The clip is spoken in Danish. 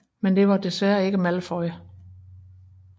Men det var desværre ikke Malfoy